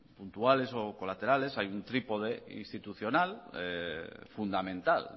puntuales o colaterales hay un trípode institucional fundamental